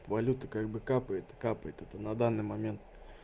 валюта как бы капает и капает это на данный момент